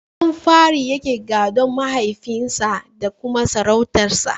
Ɗan fari yake gadon mahaifin sa da kuma sarautar sa.